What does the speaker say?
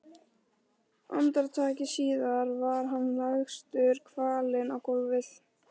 Andartaki síðar var hann lagstur kvalinn á gólfið.